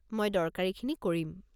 মই দৰকাৰীখিনি কৰিম।